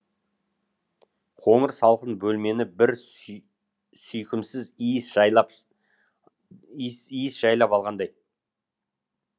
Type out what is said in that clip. қоңыр салқын бөлмені бір сүйкімсіз иіс жайлап иіс жайлап алғандай